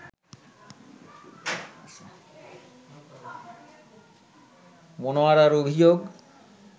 মনোয়ারার অভিযোগ